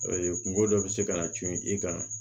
kungo dɔ bɛ se ka na cun i kan